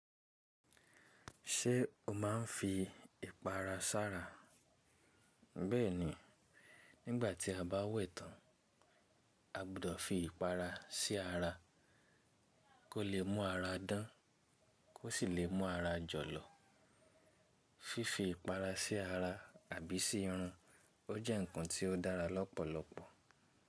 Ṣé o máa ń fi ìpara sára? Bẹ́ẹ̀ni, nígbà tí a bá wẹ̀ tán, a gbọdọ̀ fi ìpara sí ara kó lè mú ara dán kó sì lè mú ara jọlọ. Fífi ìpara sí ara àbí sí irun, ó jẹ́ ǹkan tí ó dára lọ́pọ̀lọpọ̀